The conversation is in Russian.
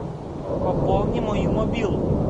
пополни мою мобилу